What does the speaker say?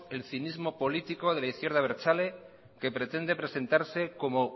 el cinismo político de la izquierda abertzale que pretende presentarse como